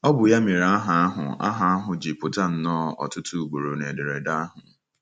Ọ bụ ya mere aha ahụ aha ahụ ji pụta nnọọ ọtụtụ ugboro n'ederede ahụ.